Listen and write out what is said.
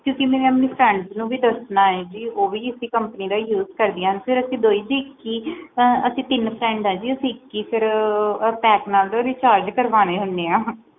ਕਿਉਕਿ ਮਈ ਆਪਣੇ friends ਨੂੰ ਵੀ ਦੱਸਣਾ ਹੁੰਦਾ ਹੈ ਫੇਰ ਅਸੀਂ ਦੋਹੇ ਇੱਕ ਹੀ ਅਸੀਂ ਤਿੰਨ ਆ ਜੀ ਉਹ ਵੀ ਇਸੇ company ਦਾ use ਕਰਦਿਆਂ ਹਨ ਅਸੀਂ ਟੀਨਾ ਨੇ ਇੱਕੋ pack ਨਾਲ recharge ਕਰਵਾਣਾ ਹੁਣੇ ਆ